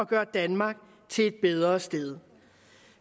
gøre danmark til et bedre sted